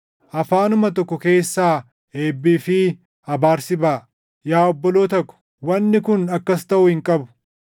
Afaanuma tokko keessaa eebbii fi abaarsi baʼa. Yaa obboloota ko, wanni kun akkas taʼuu hin qabu.